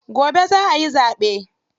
Gobe za ayi zaɓe.